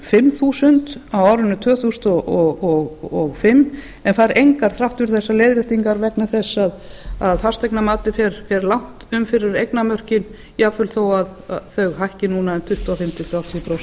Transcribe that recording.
fimm þúsund á árinu tvö þúsund og fimm en fær engar þrátt fyrir þessar leiðréttingar vegna þess að fasteignamatið fer langt inn fyrir eignamörkin jafnvel þó þau hækki núna um tuttugu og fimm til þrjátíu prósent